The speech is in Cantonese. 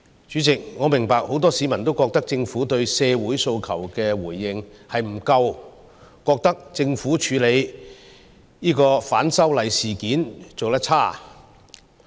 主席，我明白很多市民均認為政府對社會訴求的回應不足，政府處理反修例事件的做法有欠理想。